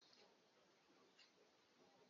Balogun ilẹ̀ wa pàṣẹ fún àwọn ọmọ ogun rẹ̀ ní àná